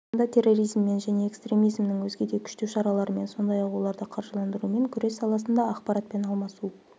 аясында терроризммен және экстремизмнің өзге де күштеу шараларымен сондай-ақ оларды қаржыландырумен күрес саласында ақпаратпен алмасу